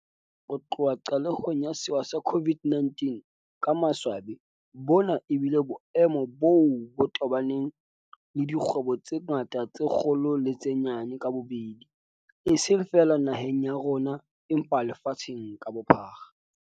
Ho tloha qalehong ya sewa sa COVID-19, ka maswabi bona ebile boemo boo bo tobaneng le dikgwebo tse ngata tse kgolo le tse nyane ka bobedi, eseng feela naheng ya rona empa lefatsheng ka bophara.